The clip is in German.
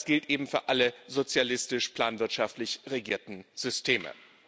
Das gilt eben für alle sozialistisch planwirtschaftlich regierten Systeme.